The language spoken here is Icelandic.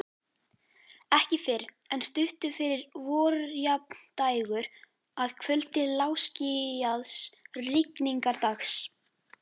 Ekki fyrr en stuttu fyrir vorjafndægur, að kvöldi lágskýjaðs rigningardags.